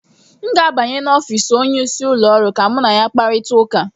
M ga-abanye n'ụlọ ọrụ onyeisi ụlọ ọrụ ka mụ na ya kparịta ụka